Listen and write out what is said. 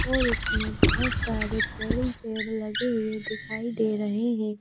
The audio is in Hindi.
और उसने बहुत सारे पेड़ लगे हुए दिखाई दे रहे हैं।